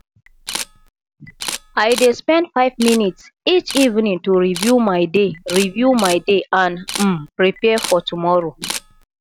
i dey spend five minutes each evening to review my day review my day and um prepare for tomorrow